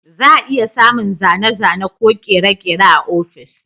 Za a iya samun zane-zane ko kere-kere a ofis.